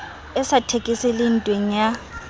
e sa thekeseleng ntweng ya